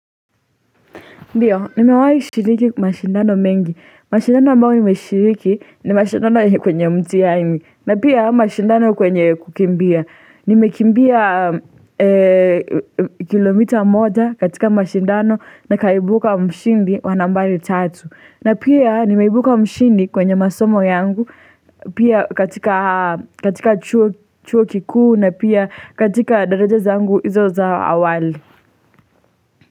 Ndio, nimewai shiriki mashindano mengi. Mashindano ambayo imeshiriki ni mashindano kwenye mtihani. Na pia mashindano kwenye kukimbia. Nimekimbia kilomita moja katika mashindano nikaibuka mshindi wa nambari tatu. Na pia nimeibuka mshindi kwenye masomo yangu pia katika katika chuo chuo kikuu na pia katika daraja zangu izo za awali.